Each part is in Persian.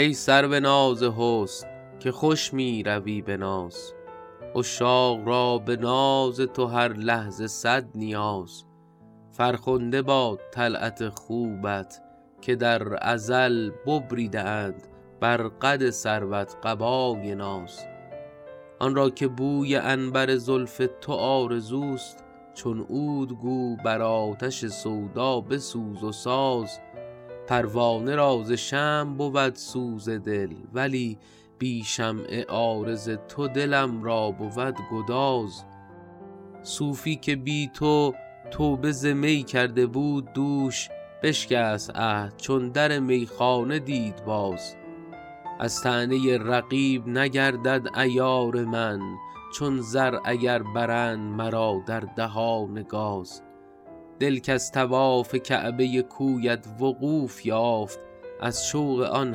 ای سرو ناز حسن که خوش می روی به ناز عشاق را به ناز تو هر لحظه صد نیاز فرخنده باد طلعت خوبت که در ازل ببریده اند بر قد سروت قبای ناز آن را که بوی عنبر زلف تو آرزوست چون عود گو بر آتش سودا بسوز و ساز پروانه را ز شمع بود سوز دل ولی بی شمع عارض تو دلم را بود گداز صوفی که بی تو توبه ز می کرده بود دوش بشکست عهد چون در میخانه دید باز از طعنه رقیب نگردد عیار من چون زر اگر برند مرا در دهان گاز دل کز طواف کعبه کویت وقوف یافت از شوق آن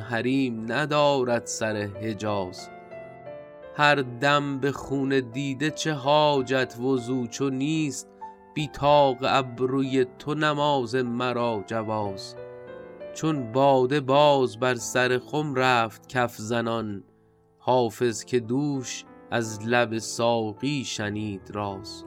حریم ندارد سر حجاز هر دم به خون دیده چه حاجت وضو چو نیست بی طاق ابروی تو نماز مرا جواز چون باده باز بر سر خم رفت کف زنان حافظ که دوش از لب ساقی شنید راز